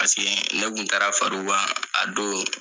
Paseke ne tun taara far'o kan a don.